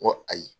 N ko ayi